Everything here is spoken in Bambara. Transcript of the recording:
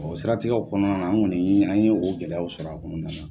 O siratigɛw kɔnɔnana an kɔni ni an ye o gɛlɛyaw sɔrɔ a kɔnɔnana.